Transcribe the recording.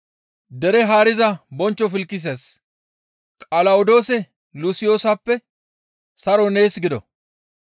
«Dere haariza bonchcho Filkises, Qalawodoosa Lusiyoosappe, saroy nees gido.